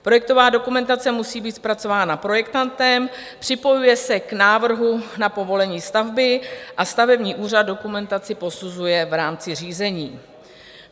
Projektová dokumentace musí být zpracována projektantem, připojuje se k návrhu na povolení stavby a stavební úřad dokumentaci posuzuje v rámci řízení.